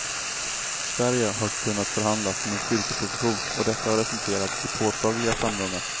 Sverige har kunnat förhandla från en styrkeposition, och detta har resulterat i påtagliga framgångar.